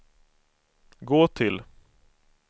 gå till